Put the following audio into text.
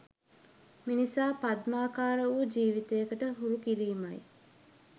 මිනිසා පද්මාකාර වූ ජීවිතයකට හුරු කිරීමයි.